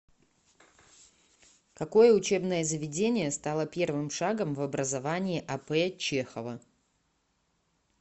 какое учебное заведение стало первым шагом в образовании а п чехова